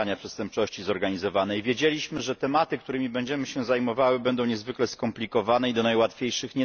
Zwalczania Przestępczości Zorganizowanej wiedzieliśmy, że tematy, którymi będziemy się zajmowali, będą niezwykle skomplikowane i nie należą do najłatwiejszych.